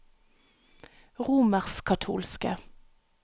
romerskkatolske